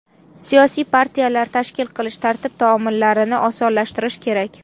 Siyosiy partiyalar tashkil qilish tartib-taomillarini osonlashtirish kerak.